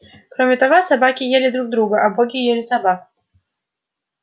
кроме того собаки ели друг друга а боги ели собак